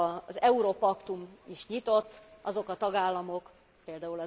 Az európaktum is nyitott, azok a tagállamok, pl.